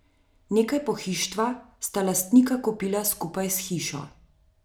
Nekaj pohištva sta lastnika kupila skupaj s hišo.